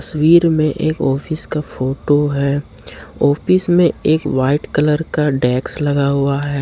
तस्वीर में एक ऑफिस का फोटो है ऑफिस में एक वाइट कलर का डेस्क लगा हुआ है।